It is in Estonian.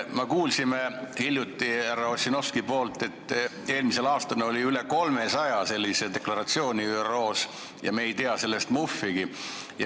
Me kuulsime hiljuti härra Ossinovskilt, et eelmisel aastal oli üle 300 sellise ÜRO deklaratsiooni, millest me ei tea muhvigi.